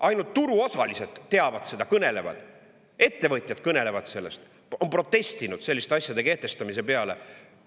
Ainult turuosalised teavad seda, ettevõtjad kõnelevad sellest, on protestinud selliste asjade kehtestamise peale üle.